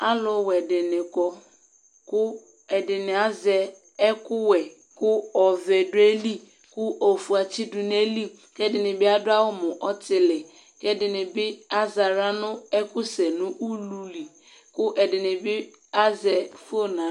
alʊwɛ dɩnɩ kɔ, ɛdɩnɩ azɛ akʊ wɛ, kʊ ɔvɛ dʊ ayili, kʊ ofue atsidʊ nʊ ayili, kʊ ɛdɩnɩ bɩ adʊ awu mʊ ɔtili, kʊ ɛdɩnɩ bɩ az'aɣla nʊ ɛkʊ sɛ nʊ ulu li kʊ ɛdɩnɩ azɛ inabutiko n'aɣla